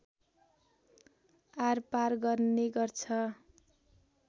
आरपार गर्ने गर्छ